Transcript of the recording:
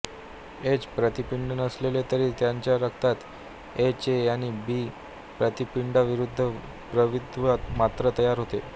H प्रतिपिंड नसले तरी त्यांच्या रक्तात एच ए आणि बी प्रतिपिंडाविरुद्ध प्रतिद्रव्य मात्र तयार होते